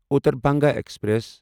Uttar Banga express